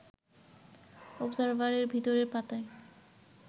অবজারভার-এর ভেতরের পাতায়